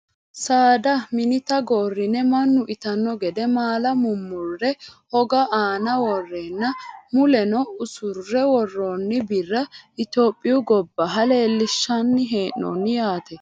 Saada minita gorrine mannu itanno gede maala murmurre hogu aana worreenna muleno usurre worroonni birra Itiyophiyu gobbaha leellinshanni hee'noonni yaate